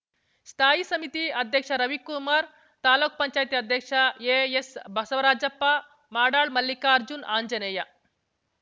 ಸ್ಥಾಯಿ ಸಮಿತಿ ಅಧ್ಯಕ್ಷ ರವಿಕುಮಾರ್‌ ತಾಲೂಕ್ ಪಂಚಾಯತಿ ಮಾಜಿ ಅಧ್ಯಕ್ಷ ಎಎಸ್‌ ಬಸವರಾಜಪ್ಪ ಮಾಡಾಳ್‌ ಮಲ್ಲಿಕಾರ್ಜುನ್‌ ಅಂಜನೇಯ